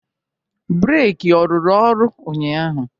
Breki ọ rụrụ ọrụ ụnyaahụ?